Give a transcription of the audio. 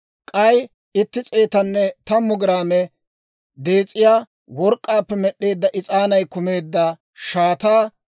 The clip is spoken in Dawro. k'ay itti s'eetanne tammu giraame dees'iyaa work'k'aappe med'd'eedda is'aanay kumeedda shaataa;